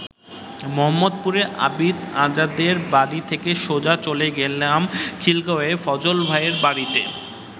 মোহাম্মদপুরে আবিদ আজাদের বাড়ি থেকে সোজা চলে গেলাম খিলগাঁওয়ে ফজল ভাইয়ের বাড়িতে।